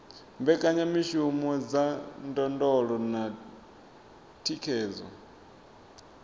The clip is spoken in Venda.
mbekanyamishumo dza ndondolo na thikhedzo